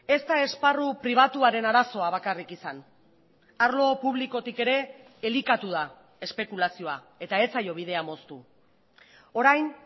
ez da esparru pribatuaren arazoa bakarrik izan arlo publikotik ere elikatu da espekulazioa eta ez zaio bidea moztu orain